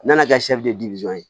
N nana kɛ ye